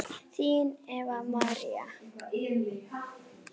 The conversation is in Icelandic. Þín Eva María.